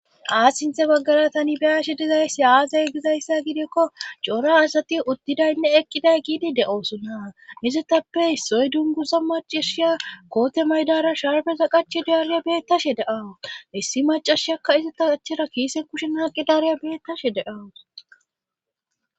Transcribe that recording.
Aas sinthe baggara tani biyashe dizayssi aazay gizayssa gidekko cora asati uttidaynne eqqiday giidi de'oosona izettappe issoy dunguza macashiya koote maydara sharbeza qache deariya beettashe deawus issi macashiyakka izita qachera kiise kushen haaqi daariya beettashe deawus